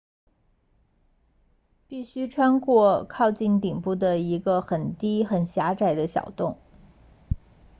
必须穿过靠近顶部的一个很低很狭窄的小洞